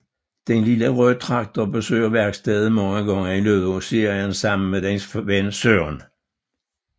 Den Lille røde traktor besøger værkstedet mange gange i løbet af serien sammen med dens ven Søren